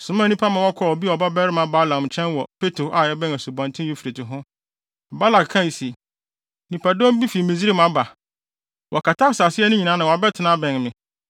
somaa nnipa ma wɔkɔɔ Beor babarima Balaam nkyɛn wɔ Petor a ɛbɛn Asubɔnten Eufrate ho. Balak kae se, “Nnipadɔm bi fi Misraim aba. Wɔkata asase ani nyinaa na wɔabɛtena abɛn me.